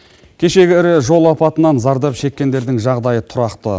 кешегі ірі жол апатынан зардап шеккендердің жағдайы тұрақты